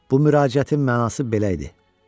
Bu müraciətin mənası belə idi: